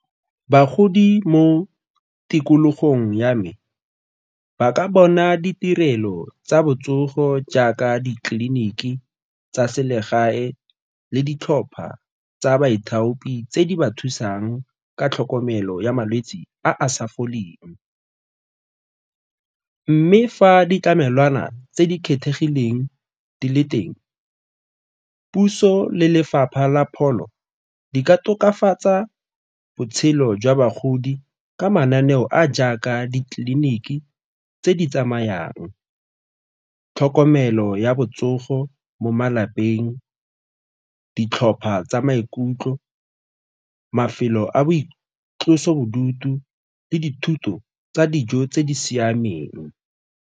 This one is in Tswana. Bagodi mo tikologong ya me ba ka bona ditirelo tsa botsogo jaaka ditleliniki tsa selegae le ditlhopha tsa boithaopi tse di ba thusang ka tlhokomelo ya malwetse a a sa foleng, mme fa ditlamelwana tse di kgethegileng di le teng, puso le lefapha la pholo di ka tokafatsa botshelo jwa bagodi ka mananeo a a jaaka ditleliniki tse di tsamayang, tlhokomelo ya botsogo mo malapeng, ditlhopha tsa maikutlo, mafelo a boitlosobodutu le dithuto tsa dijo tse di siameng.